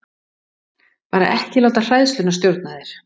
Bara ekki láta hræðsluna stjórna þér.